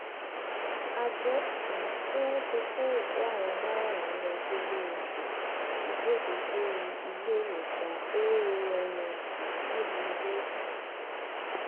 a gbọ um pé wọn ti kó òkú àwọn márààrún lọ sílé um ìgbọkùsí iléèwòsàn oannc nílùú iléeṣẹ